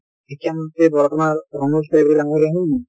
শিক্ষা মন্ত্ৰী বৰ্তমান ৰনোজ পেগু ডাঙ্গৰীয়া হয় নে নহয়?